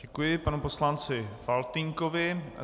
Děkuji panu poslanci Faltýnkovi.